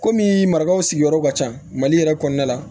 Komi marakaw sigiyɔrɔ ka ca mali yɛrɛ kɔnɔna la